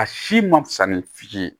A si ma fusa ni fiti ye